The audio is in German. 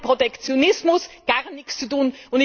Das hat mit Protektionismus gar nichts zu tun.